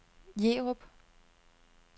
Jerup